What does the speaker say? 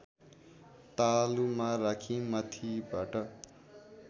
तालुमा राखी माथिबाट